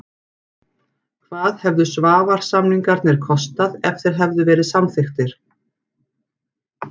Hvað hefðu Svavars-samningarnir kostað ef þeir hefðu verið samþykktir?